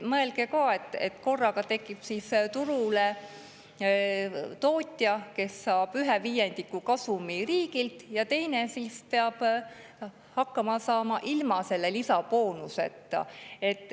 Mõelge ka, et korraga tekib turule tootja, kes saab ühe viiendiku kasumist riigilt, ja teine peab hakkama saama ilma selle boonuseta.